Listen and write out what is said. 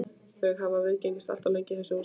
Þau hafa viðgengist allt of lengi í þessu húsi.